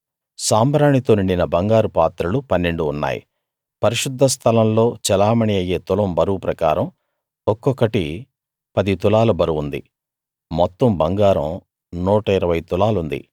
సాంబ్రాణితో నిండిన బంగారు పాత్రలు పన్నెండు ఉన్నాయి పరిశుద్ధ స్థలంలో చెలామణీ అయ్యే తులం బరువు ప్రకారం ఒక్కొక్కటి పది తులాల బరువుంది మొత్తం బంగారం 120 తులాలుంది